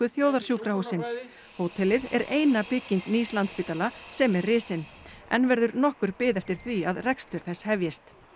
þjóðarsjúkrahússins hótelið er eina bygging nýs Landspítala sem er risin enn verður nokkur bið eftir því að rekstur þess hefjist